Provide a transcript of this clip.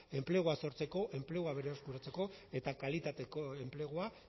enplegua sortzeko enplegua berreskuratzeko eta kalitateko enplegua